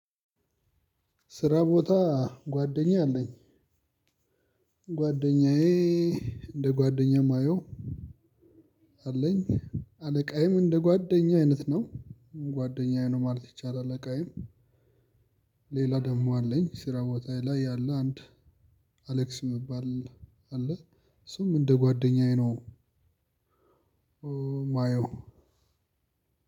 ስራ ቦታ ጓደኛ አለኝ። ጓደኛዬ እንደ ጓደኛዬ የማየው አለኝ። አለቃዬም እንደ ጓደኛ አይነት ነው ጓደኛዬ ነው ማለት ይቻላል አለቃዬም። ሌላ ደሞ አለኝ ስራ ቦታዬ ላይ ያለ አንድ አሌክስ ሚባል አለ እሱም እንደ ጓደኛዬ ነው። ማየው